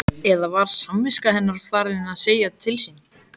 Eða var samviska hennar farin að segja til sín?